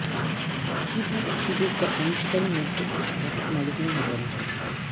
কিভাবে ক্যুবেক বা অংশীদারি মধ্যে একটি একক মালিকানা নিবন্ধন